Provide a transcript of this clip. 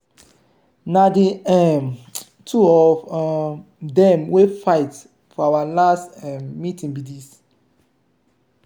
na the um two of um them wey fight for our last um minute be dis